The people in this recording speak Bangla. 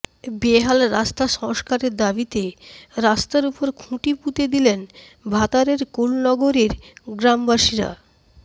বেহাল রাস্তা সংস্কারের দাবিতে রাস্তার উপর খুঁটি পুঁতে দিলেন ভাতারের কুলনগরের গ্রামবাসীরা